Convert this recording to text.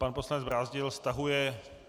Pan poslanec Brázdil stahuje.